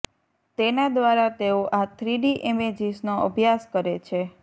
તેના દ્વારા તેઓ આ થ્રીડી ઇમેજીસનો અભ્યાસ કરે છે